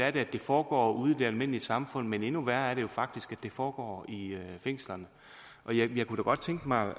at det foregår ude i det almindelige samfund men endnu værre er det jo faktisk det foregår i fængslerne jeg kunne da godt tænke mig